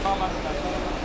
Gəl, gəl, gəl, gəl, gəl.